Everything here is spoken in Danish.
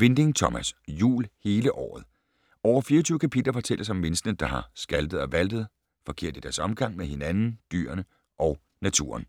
Winding, Thomas: Jul hele året Over 24 kapitler fortælles om menneskene, der har skaltet og valtet forkert i deres omgang med hinanden, dyrene og naturen.